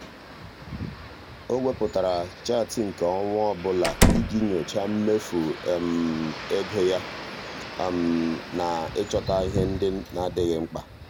o wepụtara chaatị nke ọnwa ọbụla iji nyochaa mmefu um ego ya um na ịchọta ihe ndị na-adịghị mkpa.